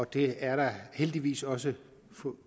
det er der heldigvis også